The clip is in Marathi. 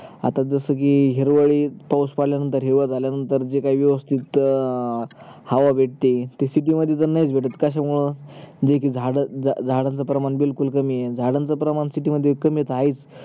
आता जस कि हिरवळीत पावूस पडल्या नंतर हिरव झाल्यानतर जे काही व्यवस्तीत हवा भेटते ते city मध्ये पण नाहीच भेट कस्या मुळे जे कि झाड झाडांचा प्रमाण बिलकुल कमी आहे झाडांचा प्रमाण city मध्ये कमी त आहेच